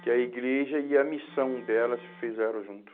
Que a igreja e a missão dela se fizeram junto.